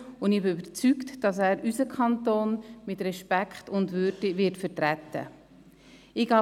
Ich bin davon überzeugt, dass er unseren Kanton mit Respekt und Würde vertreten wird.